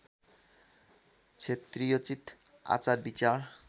क्षत्रियोचित आचार विचार